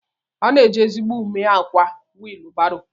Ana eji ezigbo ume akwa wilu baro.